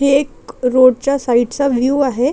ही एक रोडच्या साइडचा व्यू आहे.